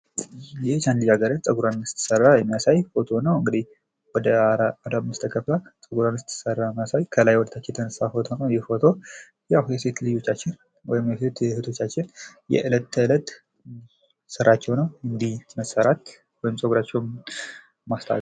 ልጃገረድ ፀጉሯን ስትሰራ የሚያሳይ ፎቶ ነው ።እንግዲህ ወደ አምስት ተከፍላ ስትሰራ የሚያሳይ ከላይ ወደታች የተነሳ ፎቶ ነው። አሁን ይሄ ፎቶ የሴት ልጆቻችን ወይም የሴት እህቶቻችን የዕለት ተዕለት ስራቸው ነው። መሰራት እንዲ መሰራት ወይም ፀጉራቸውን ማስተካከል ።